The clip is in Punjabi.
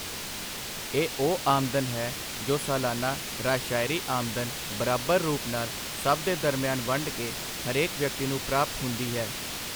ਇਹ ਉਹ ਆਮਦਨ ਹੈ ਜੋ ਸਾਲਾਨਾ ਰਾਸ਼ਅਰੀ ਆਮਦਨ ਬਰਾਬਰ ਰੂਪ ਨਾਲ ਸਭ ਦੇ ਦਰਮਿਆਨ ਵੰਡ ਕੇ ਹਰੇਕ ਵਿਅਕਤੀ ਨੂੰ ਪ੍ਰਾਪਤ ਹੁੰਦੀ ਹੈ।